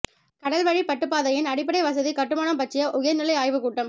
கடல்வழி பட்டுப்பாதையின் அடிப்படை வசதி கட்டுமானம் பற்றிய உயர் நிலை ஆய்வுக் கூட்டம்